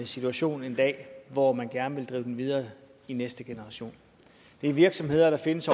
situation en dag hvor man gerne ville drive dem videre i næste generation det er virksomheder der findes